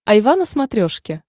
айва на смотрешке